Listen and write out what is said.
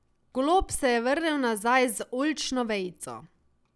Golob se je vrnil nazaj z oljčno vejico.